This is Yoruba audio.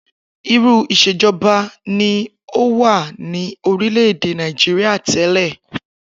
Irú ìs̩èjo̩ba ni ó wà ní orílè̩ èdè Nàìjíríà té̩lè̩?